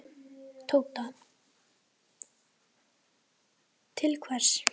Tóta: Til hvers?